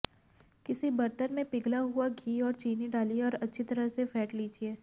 किसी बर्तन में पिघला हुआ घी और चीनी डालिये और अच्छी तरह से फैंट लीजिये